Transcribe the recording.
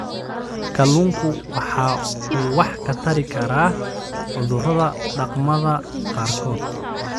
Kalluunku waxa uu wax ka tari karaa cudurrada dhaqamada qaarkood.